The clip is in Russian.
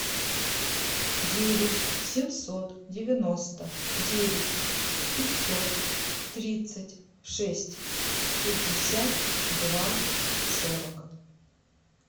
девять семьсот девяносто девять пятьсот тридцать шесть пятьдесят два сорок